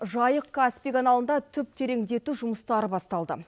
жайық каспий каналында түп тереңдету жұмыстары басталды